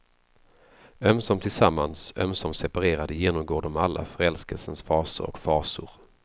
Ömsom tillsammans, ömsom separerade genomgår de alla förälskelsens faser och fasor.